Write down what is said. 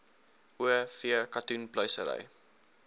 o v katoenpluisery